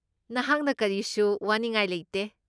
ꯅꯍꯥꯛꯅ ꯀꯔꯤꯁꯨ ꯋꯥꯅꯤꯡꯉꯥꯏ ꯂꯩꯇꯦ ꯫